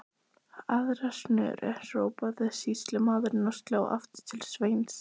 Aðra snöru, hrópaði sýslumaður og sló aftur til Sveins.